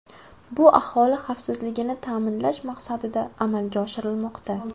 Bu aholi xavfsizligini ta’minlash maqsadida amalga oshirilmoqda.